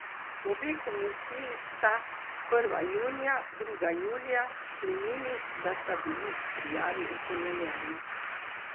Obe komisiji sta, prva junija, druga julija, sklenili, da sta bili prijavi utemeljeni.